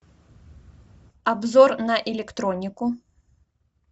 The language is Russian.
обзор на электронику